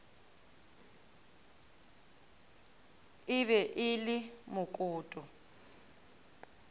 e be e le mokoto